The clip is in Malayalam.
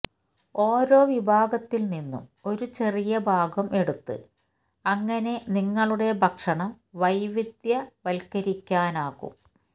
ഓരോ വിഭവത്തിൽ നിന്നും ഒരു ചെറിയ ഭാഗം എടുത്ത് അങ്ങനെ നിങ്ങളുടെ ഭക്ഷണം വൈവിധ്യവത്കരിക്കാനാകും